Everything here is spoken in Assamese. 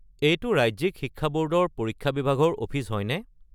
এইটো ৰাজ্যিক শিক্ষা বৰ্ডৰ পৰীক্ষা বিভাগৰ অফিচ হয়নে?